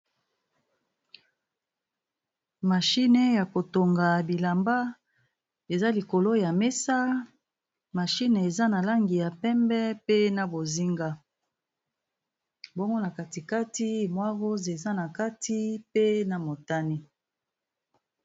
Mashine ya kotonga bilamba eza likolo ya mesa, mashine eza na langi ya pembe, pe na bozinga bongo na katikati mwaros eza na kati pe na motani.